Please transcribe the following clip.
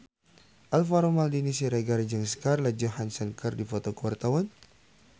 Alvaro Maldini Siregar jeung Scarlett Johansson keur dipoto ku wartawan